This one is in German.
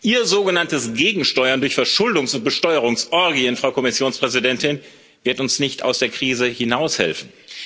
Ihr sogenanntes Gegensteuern durch Verschuldungs und Besteuerungsorgien, Frau Kommissionspräsidentin, wird uns nicht aus der Krise hinaushelfen.